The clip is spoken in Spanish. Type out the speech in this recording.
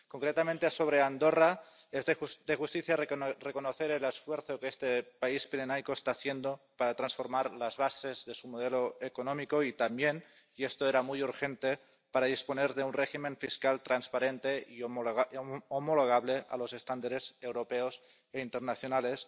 Concretamente sobre Andorra es de justicia reconocer el esfuerzo que este país pirenaico está haciendo para transformar las bases de su modelo económico y también —y esto era muy urgente— para disponer de un régimen fiscal transparente y homologable a los estándares europeos e internacionales.